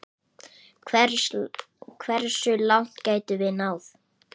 Hversu langt gæti hann náð?